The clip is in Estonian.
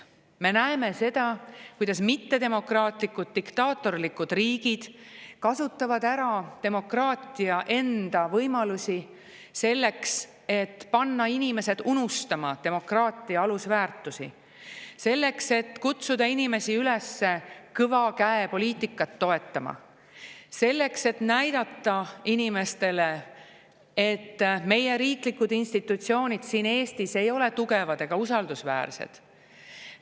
Me näeme seda, kuidas mittedemokraatlikud diktaatorlikud riigid kasutavad ära demokraatia enda võimalusi selleks, et panna inimesed unustama demokraatia alusväärtusi, selleks, et kutsuda inimesi üles kõva käe poliitikat toetama, selleks, et näidata inimestele, et meie riiklikud institutsioonid siin Eestis ei ole tugevad ega usaldusväärsed.